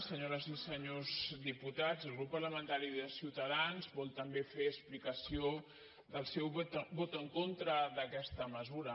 senyores i senyors diputats el grup parlamentari de ciutadans vol també fer explicació del seu vot en contra d’aquesta mesura